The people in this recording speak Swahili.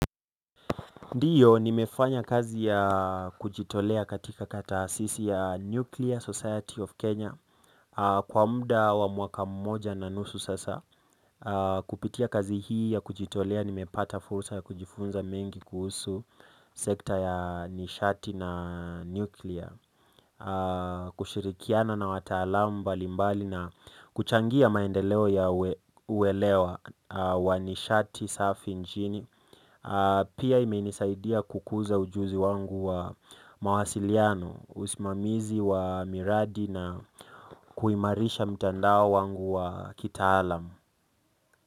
Ndiyo nimefanya kazi ya kujitolea katika taasisi ya nuclear society of Kenya kwa mda wa mwaka mmoja na nusu sasa kupitia kazi hii ya kujitolea, nimepata fursa ya kujifunza mengi kuhusu sekta ya nishati na nuclear kushirikiana na wataalamu mbalimbali na kuchangia maendeleo ya uwelewa wa nishati safi nchini pia imenisaidia kukuza ujuzi wangu wa mawasiliano, usimamizi wa miradi na kuimarisha mtandao wangu wa kitaalam.